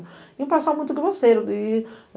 Vinha passar muito grosseiro. E